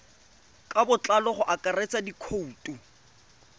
ka botlalo go akaretsa dikhoutu